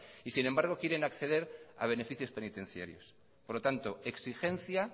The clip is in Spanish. y sin embargo quieren acceder a beneficios penitenciarios por lo tanto exigencia